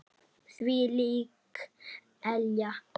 Þvílík elja.